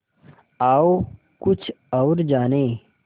आओ कुछ और जानें